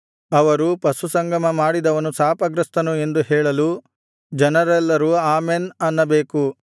ಅವರು ಪಶುಸಂಗಮ ಮಾಡಿದವನು ಶಾಪಗ್ರಸ್ತನು ಎಂದು ಹೇಳಲು ಜನರೆಲ್ಲರೂ ಆಮೆನ್ ಅನ್ನಬೇಕು